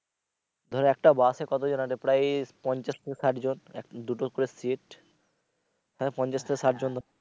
ধরো একটা বাসে কতজন আটে প্রায় এই পঞ্ছাশ থেকে ষাটজন এক দুটো করে সিট এখানে পঞ্ছাশ থেকে ষাটজন ধরো।